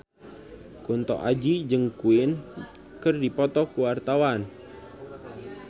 Kunto Aji jeung Queen keur dipoto ku wartawan